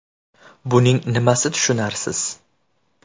Buning nimasi tushunarsiz?